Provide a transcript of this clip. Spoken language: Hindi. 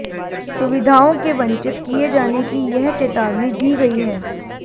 सुविधाओं के वंचित किये जाने की यह चेतावनी दी गयी है